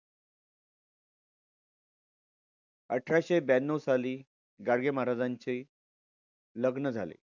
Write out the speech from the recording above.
अठराशे ब्यांन्नव साली गाडगे महाराजांचे लग्न झाले.